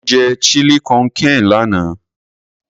Mo jẹ Chili con carne lánàá.